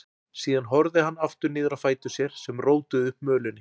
Síðan horfði hann aftur niður á fætur sér sem rótuðu upp mölinni.